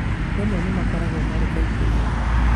Rĩmwe nĩmakoragwo marĩ aingĩ muno